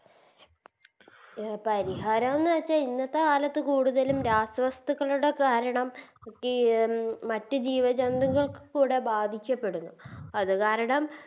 പരിഹരോന്ന് വെച്ച ഇന്നത്തെ കാലത്ത് കൂടുതലും രാസവസ്തുക്കളുടെ കാരണം ഈ മറ്റ് ജീവ ജന്തുക്കൾക്കുകൂടെ ബാധിക്കപ്പെടുന്നു അത് കാരണം